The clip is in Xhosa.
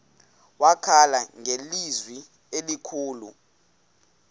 wakhala ngelizwi elikhulu